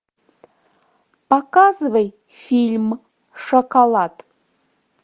показывай фильм шоколад